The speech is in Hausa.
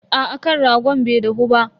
Aa kan ragon bai dahu ba.